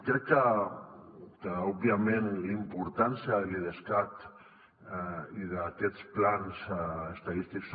crec que òbviament la importància de l’idescat i d’aquests plans estadístics